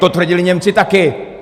To tvrdili Němci taky!